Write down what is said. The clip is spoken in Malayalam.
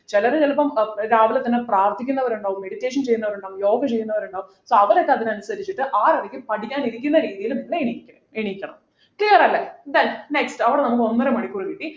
ചെലര് ചെലപ്പോ ഏർ രാവിലെ തന്നെ പ്രാർത്ഥിക്കുന്നവരുണ്ടാകും meditation ചെയ്യുന്നവരുണ്ടാകും യോഗ ചെയ്യുന്നവരുണ്ടാകും so അവരൊക്കെ അതിനനുസരിച്ചിട്ട് ആറരയ്ക്ക് പഠിക്കാനിരിക്കുന്ന രീതിയില് നിങ്ങൾ ഇരിക്ക എണീക്കണം clear അല്ലെ then next അവിടെ നമുക്ക് ഒന്നര മണിക്കൂർ കിട്ടി